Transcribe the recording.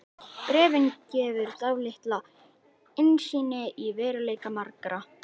Bréfið gefur dálitla innsýn í veruleika margra.